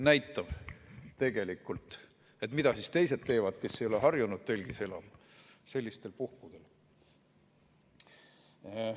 Mida teevad teised, kes ei ole harjunud telgis elama, sellistel puhkudel?